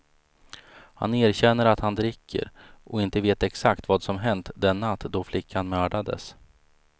Han erkänner att han dricker och inte vet exakt vad som hänt den natt då flickan mördades.